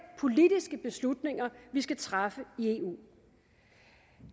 politiske beslutninger vi skal træffe i eu